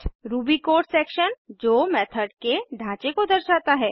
Ruby code section जो method के ढाँचे को दर्शाता है